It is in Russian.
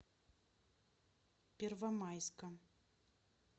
первомайска